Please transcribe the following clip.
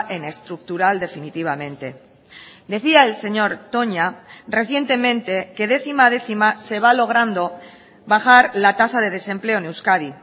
en estructural definitivamente decía el señor toña recientemente que décima a décima se va logrando bajar la tasa de desempleo en euskadi